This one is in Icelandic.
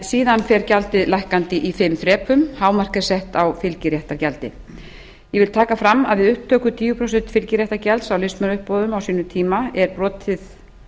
síðan fer gjaldið lækkandi í fimm þrepum hámark er sett á fylgiréttargjaldið ég vil taka fram að við upptöku tíu prósent fylgiréttargjalds á listmunauppboðum á sínum tíma er brotið